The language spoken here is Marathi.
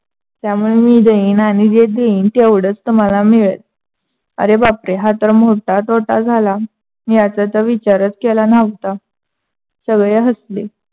त्यामुळे मी देईन आणि जे देईन तेवढंच तुम्हाला मिडेल. अरे बापरे! हा तर मोठा तोटा झाला. याचा तर विचारस केला नव्हता. सगळे हसले.